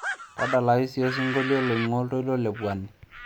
tadalayu siiyie osingolio loing'uaa oltoilo le pwani